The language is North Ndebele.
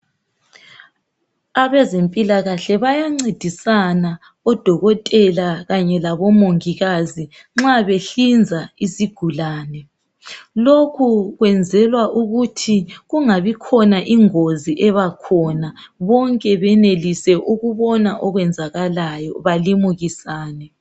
Abezempilakahle bayancedisana odokotela kanye labomongikazi nxa behlinza isigulane. Lokhu kwenzelwa ukuthi kungabi khona ingozi ebakhona bonke benelise ukubona okwenzakalayo balimukisane.